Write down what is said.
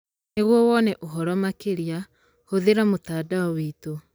Nĩguo wone ũhoro makĩria, hũthĩra mũtandao witũ.